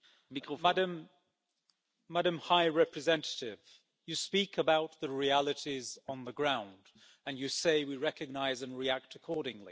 Mr President, Madam High Representative, you speak about the realities on the ground and you say we recognise and react accordingly.